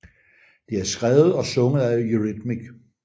Det er skrevet og sunget af Eurythmics